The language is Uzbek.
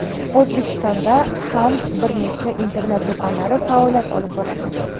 O‘zbekistonda ham bir nechta internet do‘konlari faoliyat olib boradi.